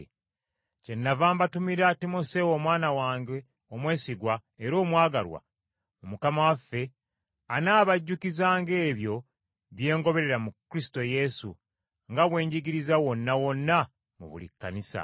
Kyennava mbatumira Timoseewo omwana wange omwesigwa era omwagalwa mu Mukama waffe, anaabajjukizanga ebyo bye ngoberera mu Kristo Yesu nga bwe njigiriza wonna wonna mu buli Kkanisa.